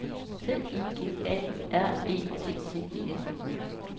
C I G A R E T T E N